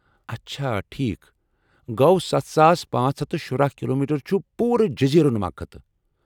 اچھا ٹھیٖک! گو٘و ستھ ساس پانژھ ہَتھ تہٕ شُرہَ کلومیٹر چُھ پوٗرٕ جزیرٕ نما خطہٕ